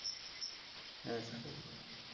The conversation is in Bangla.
হ্যাঁ সাগর বলো ।